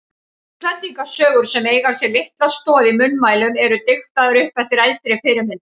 Íslendingasögur sem eiga sér litla stoð í munnmælum eru diktaðar upp eftir eldri fyrirmyndum.